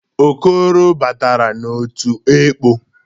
Okoro batara n'otu ekpọ.